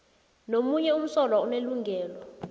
nomunye umsolwa unelungelo